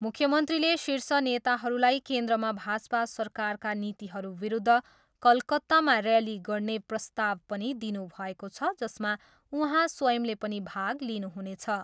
मुख्यमन्त्रीले शीर्ष नेताहरूलाई केन्द्रमा भाजपा सरकारका नीतिहरू विरुद्ध कलकत्तामा रैली गर्ने प्रस्ताव पनि दिनुभएको छ जसमा उहाँ स्वंयले पनि भाग लिनुहुनेछ।